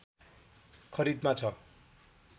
खरिदमा छ